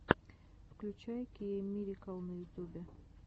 включай кеиммирикл на ютубе